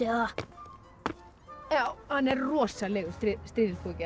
það hann er rosalegur stríðnispúki hann